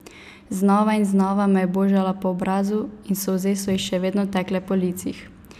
Znova in znova me je božala po obrazu in solze so ji še vedno tekle po licih.